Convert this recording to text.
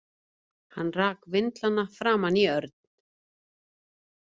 Hann rak vindlana framan í Örn.